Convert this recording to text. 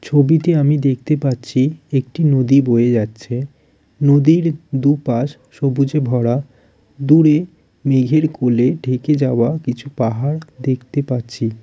ছবিটি আমি দেখতে পাচ্ছি একটি নদী বয়ে যাচ্ছে। নদীর দুপাশ সবুজে ভরা দূরে মেঘের কোলে ঢেকে যাওয়া কিছু পাহাড় দেখতে পাচ্ছি।